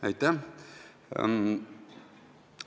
Aitäh!